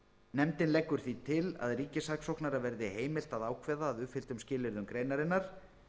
nefndin leggur því til að ríkissaksóknara verði heimilt að ákveða að uppfylltum skilyrðum greinarinnar